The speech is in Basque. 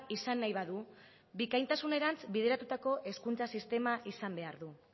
izan nahi badu bikaintasunerantz bideratutako hezkuntza sistema izan behar du